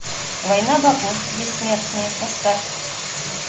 война богов бессмертные поставь